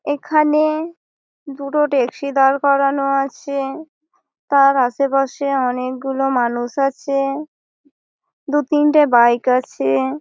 এইখানে দুটো ট্যাক্সি দাঁড় করানো আছে । তার আশেপাশে অনেকগুলো মানুষ আছে । দু তিনটে বাইক আছে।